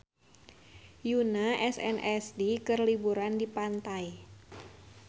Yoona SNSD keur liburan di pantai